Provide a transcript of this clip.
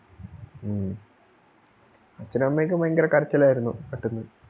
ഉം അച്ഛനും അമ്മയും ഒക്കെ ഭയങ്കര കരച്ചിലാരുന്നു പെട്ടെന്ന്